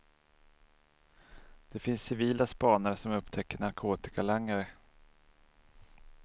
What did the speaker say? Det finns civila spanare som upptäcker narkotikalangare.